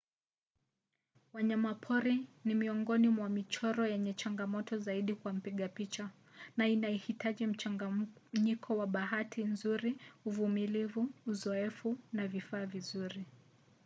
wanyama pori ni miongoni mwa michoro yenye changamoto zaidi kwa mpiga picha na inahitaji mchanganyiko wa bahati nzuri uvumilivu uzoefu na vifaa vizuri